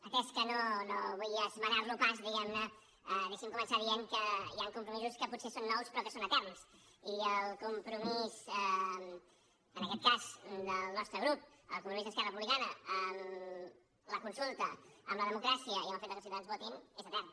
atès que no vull esmenar lo pas diguem ne deixi’m començar dient que hi han compromisos que potser són nous però que són eterns i el compromís en aquest cas del nostre grup el compromís d’esquerra republicana amb la consulta amb la democràcia i amb el fet que els ciutadans votin és etern